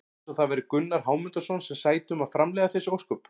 Eins og það væri Gunnar Hámundarson sem sæti um að framleiða þessi ósköp!